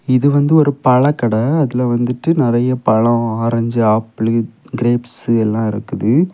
இது வந்து ஒரு பழக்கட. அதுல வந்துட்டு நறைய பழம் ஆரஞ்சு ஆப்பிள் கிரேப்ஸ் எல்லா இருக்குது.